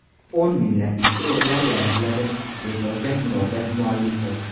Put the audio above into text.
O‘n minglab ishchi o‘rinlari yaratiladi”, deb yozgan murojaat muallifi.